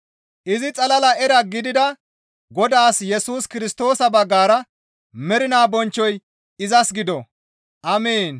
Izi xalala era gidida Godaas Yesus Kirstoosa baggara mernaa bonchchoy izas gido! Amiin.